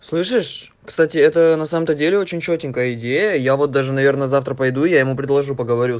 слышишь кстати это на самом-то деле очень чётенько идея я вот даже наверное завтра пойду я ему предложу поговорю